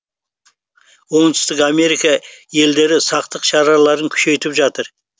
оңтүстік америка елдері сақтық шараларын күшейтіп жатыр